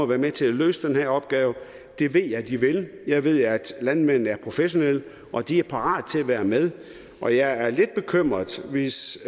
være med til at løse den her opgave det ved jeg de vil jeg ved at landmændene er professionelle og at de er parate til at være med og jeg er lidt bekymret hvis